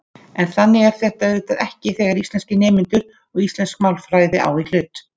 En þannig er þetta auðvitað ekki þegar íslenskir nemendur og íslensk málfræði á í hlut.